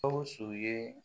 Gawusu ye